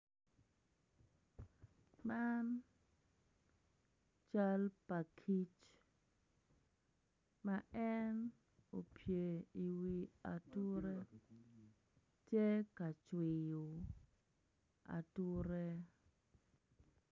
Man cal pa kic ma en opye i wi ature tye ka cwiyo ature.